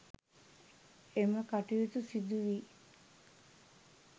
එම කටයුතු සිදු වී